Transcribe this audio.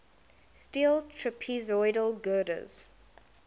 steel trapezoidal girders